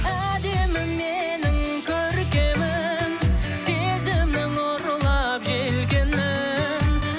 әдемім менің көркемім сезімнің ұрлап желкенін